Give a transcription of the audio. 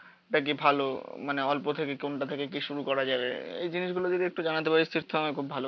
টা কি ভালো মানে অল্প থেকে কোনটা থেকে কি শুরু করা যাবে। এই জিনিসগুলো যদি একটু জানাতে পারিস তো আমায় খুব ভালো